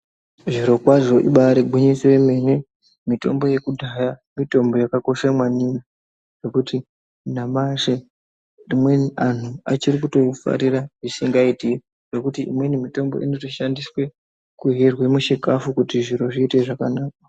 Zviro kwazvo ibarigwinyiso remene mitombo yekudhaya mitombo yakakosha maningi nekuti nyamashi amweni antu achiri kutoifarira zvisingaiti nekuti umweni mutombo unotoshandiswe kuryirwa muchikafu Kuti zviro zviite zvakanaka.